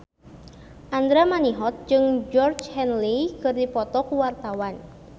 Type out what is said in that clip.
Andra Manihot jeung Georgie Henley keur dipoto ku wartawan